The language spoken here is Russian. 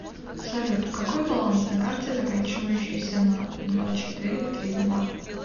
салют какой баланс на карте заканчивающейся на два четыре три два